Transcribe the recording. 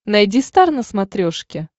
найди стар на смотрешке